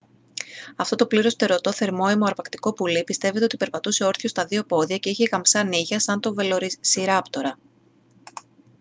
αυτό το πλήρως φτερωτό θερμόαιμο αρπακτικό πουλί πιστεύεται ότι περπατούσε όρθιο στα δύο πόδια και είχε γαμψά νύχια σαν τον βελοσιράπτορα